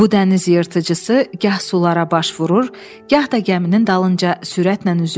Bu dəniz yırtıcısı gah sulara baş vurur, gah da gəminin dalınca sürətlə üzürdü.